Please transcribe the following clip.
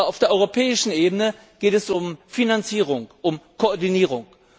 Aber auf der europäischen Ebene geht es um Finanzierung, um Koordinierung.